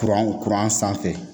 Kuran kuran sanfɛ